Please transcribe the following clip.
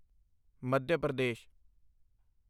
Madhya Pradesh